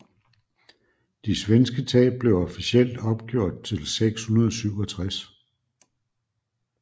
De svenske tab blev officielt opgjort til 667